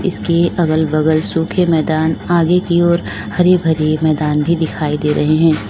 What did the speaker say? इसके अगल बगल सूखे मैदान आगे की ओर हरे भरे मैदान भी दिखाई दे रहे हैं।